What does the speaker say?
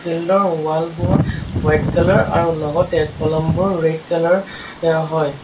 Field ৰ wall বোৰ white colour আৰু লগতে কলমবোৰ ৰেড কালাৰ য় হয়।